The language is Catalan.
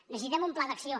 necessitem un pla d’acció